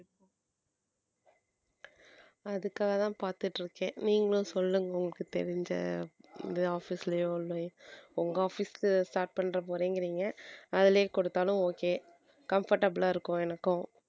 அதுக்காகதான் பார்த்துட்டு இருக்கேன் நீங்களும் சொல்லுங்க உங்களுக்கு தெரிஞ்ச இது office லயோ இல்லை உங்க office க்கு start பண்ணப் போறீங்க அதிலயே கொடுத்தாலும் okay comfortable ஆ இருக்கும் எனக்கும்